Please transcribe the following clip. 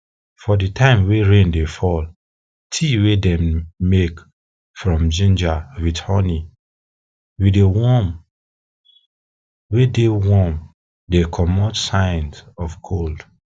for di time wey rain dey fall tea wey dem make from ginger with honey wey dey warm dey comot signs of cold